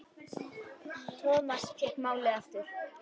Thomas fékk málið aftur.